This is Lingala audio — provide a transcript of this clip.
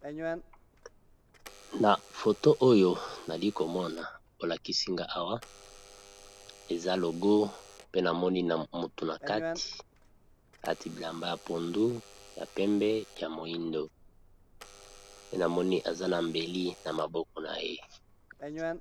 na foto oyo nali komona olakisinga awa eza logo pe namoni na motu na kati ati bilamba ya pondu ya pembe ya moindo pe namoni eza na mbeli na maboko na ye